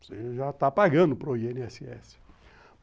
Você já está pagando para o i ene esse esse.